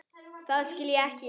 Það skil ég ekki.